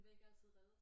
De vil ikke altid reddes